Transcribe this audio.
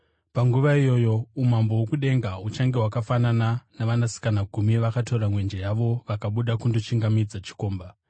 “Panguva iyoyo umambo hwokudenga huchange hwakafanana navasikana gumi, vakatora mwenje yavo vakabuda kundochingamidza chikomba.